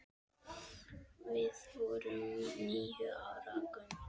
Við vorum níu ára gömul.